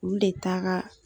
Olu de taara